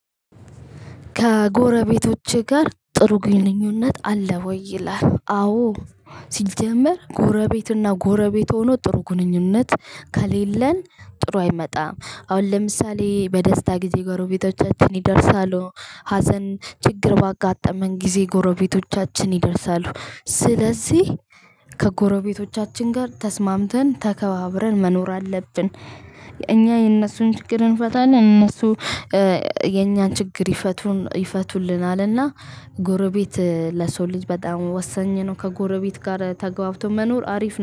ከጎረቤቶቼ ጋር ጥሩ ግንኙነት አለ ወይ? ይላል አዎ። ሲጀመር ጎረቤትና ጎረቤት ሆኖ ጥሩ ግንኙነት ከሌለን ጥሩ አይመጣም። አሁን ለምሳሌ በደስታ ጊዜ ጎረቤቶቻችን ይደርሳሉ። ሀዘን ችግር ባጋጠመን ጊዜ ጎረቤቶቻችን ይደርሳሉ። ስለዚህ ከጎረቤቶቻችን ጋር ተስማምተን ተከባብረን መኖር አለብን። እኛ የእነሱን ችግር እንፈታለን። እነሱ የእኛን ችግር ይፈቱን ይፈቱልናልና ጎረቤት ለሰው ልጅ በጣም ወሳኝ ነው። ከጎረቤት ጋር ተገብቶ መኖር አሪፍ ነው።